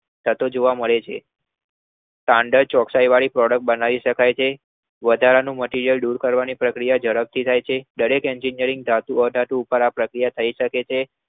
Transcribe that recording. થતો જોવા મળે છે વધારાની પ્રક્રિયા દૂર કરવાની ઝડપથી થાય છે થાય શકે છે